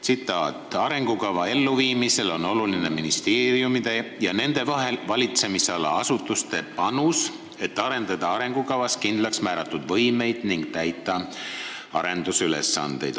Tsitaat: "Arengukava elluviimisel on oluline ministeeriumite ja nende valitsemisala asutuste panus, et arendada arengukavas kindlaks määratud võimeid ning täita muid arendusülesandeid.